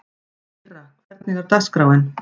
Myrra, hvernig er dagskráin?